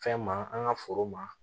Fɛn ma an ka foro ma